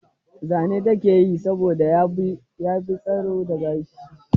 Zane ta ke yi saboda ya fi tsiro da gashi.